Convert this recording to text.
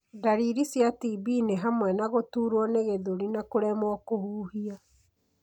Ndariri cia TB nĩ hamwe na gũturwo nĩ gĩthũri na kũremwo kũhuhia.